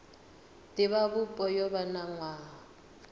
divhavhupo yo vha na nwaha